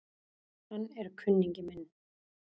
Hann er kunningi minn